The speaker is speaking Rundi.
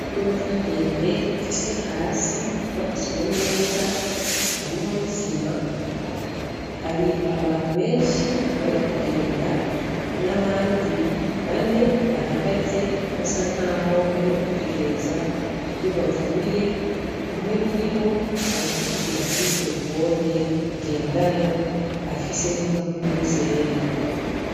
Ingorofa ndende ifise hasi hubakiye neza harimwo n’isima. Hari abantu benshi bari kugenda n’abandi bane bahagaze basa nkaho bari kwitegereza iyo bavuye, umwe muribo arikuvugira kuri terefone ngendanwa afise n’impapuro zera.